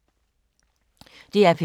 DR P3